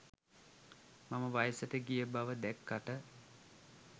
මම වයසට ගිය බව දැක්කට